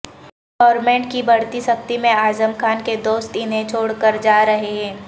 government کی بڑھتی سختی میں اعظم خان کے دوست انہیں چھوڑ کر جارہے ہیں